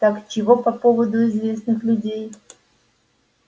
так чего по поводу известных людей